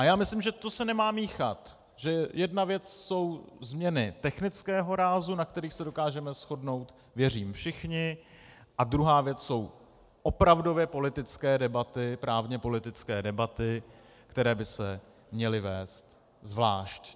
A já myslím, že to se nemá míchat, že jedna věc jsou změny technického rázu, na kterých se dokážeme shodnout, věřím, všichni, a druhá věc jsou opravdově politické debaty, právně-politické debaty, které by se měly vést zvlášť.